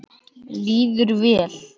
Líður vel.